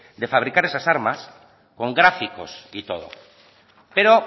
de fabricar esas armas con gráficos y todo pero